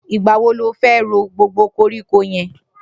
Nigbà wó ló fè ró gbógbó kórikó yèn?